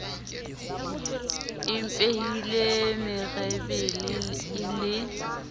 e mpehile merebele e le